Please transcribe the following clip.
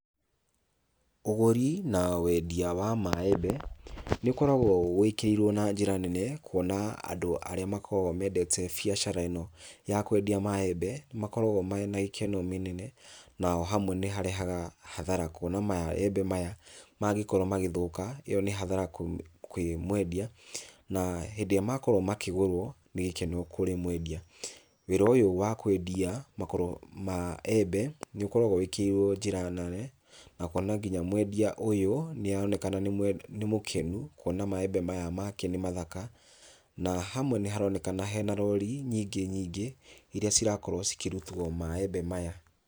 Ũgũri na wendia wa maembe, nĩũkoragwo wĩkĩrĩirwo na njĩra nene, kuona arĩa makoragwo mendete biacara ĩno ya kwendia maembe nĩmakoragwo mena gĩkeno mĩnene. Nao hamwe nĩharega hathara kuona maembe maya mngĩkorwo magĩthũka, ĩyo nĩ hathara kwĩ mwendia, na hĩndĩ ĩrĩa makorwo makĩgũrwo nĩ gĩkeno kũrĩ mwendia. Wĩra ũyũ wa kwendia makoro maembe nĩũkoragwo wĩkĩrĩirwo njĩra nene na kuona nginya mwendia ũyũ nĩaronekana nĩ mũkenu, kuona maembe maya make nĩ mathaka, na hamwe nĩharonekana hena rori nyingĩ nyingĩ iria cirakorwo cikĩrutwo maembe maya.